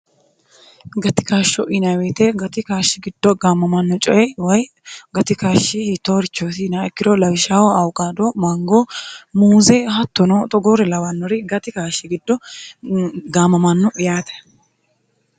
gatikaashsho inaweite gati kaashshi giddo gaammamanno coyi woy gatikaashshi hitoorichoosi naikkiro lawishaaho auqaado maangoo muuze hattono xogoori lawannori gati kaashshi giddo gaammamanno'yaate